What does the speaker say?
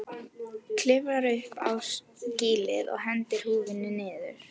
Klifrar upp á skýlið og hendir húfunni niður.